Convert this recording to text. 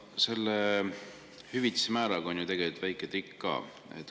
Selle hüvitise määraga on ju tegelikult väike trikk ka.